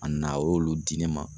A na a y'olu di ne ma.